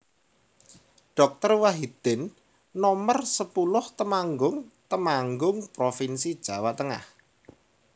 Doktor Wahidin Nomer sepuluh Temanggung Temanggung provinsi Jawa Tengah